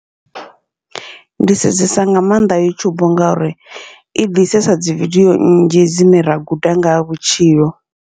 Ndi sedzesa nga maanḓa yutshubu, ngauri i bvisesa dzi vidio nnzhi dzine ra guda ngaha vhutshilo.